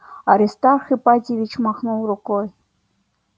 аристарх ипатьевич махнул рукой